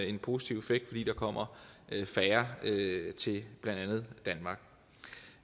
en positiv effekt fordi der kommer færre til blandt andet danmark